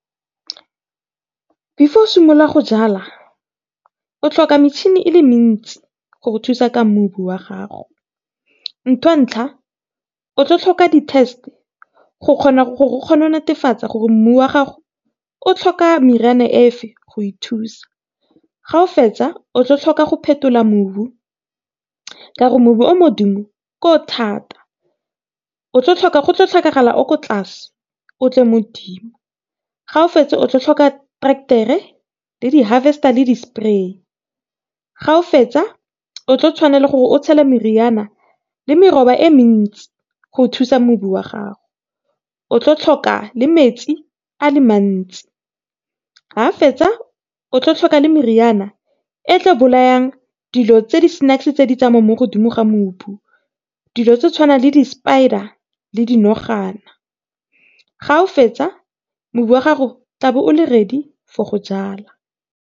Before o simola go jala o tlhoka metšhini e le mentsi go go thusa ka mobu wa gago. Ntho ya ntlha, o tlo tlhoka di test go kgona gore go netefatsa gore mmu wa gago o tlhoka meriana e feng go ithusa. Ga o fetsa o tlo tlhoka go phetola mobu, ka re mobu o modimo ke o thata. Go tlo tlhokagala o ko tlase o tle ko dimo, ga o fetsa o tlo tlhoka trektere le di harvester le di spray, ga o fetsa o tlo tshwanela ke gore o tshele meriana le meroba e mentsi go thusa mobu wa gago. O tlo tlhoka le metsi a le mantsi, ga fetsa o tlo tlhoka le meriana e tlo bolayang dilo tse di tse di tsamayang modimo ga mobu, dilo tse di tshwanang le di spider le di nogana, ga o fetsa mobu wa gago tla be o le ready for go jala.